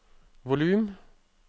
volum